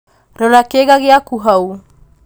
rora kĩĩga gĩaku hau